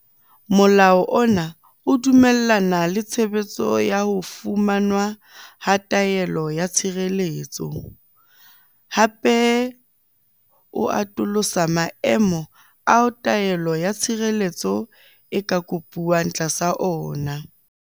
Molao ona o dumellana le tshebetso ya ho fumanwa ha taelo ya tshireletso, hape o atolotse maemo ao taelo ya tshireletso e ka kopuwang tlasa ona.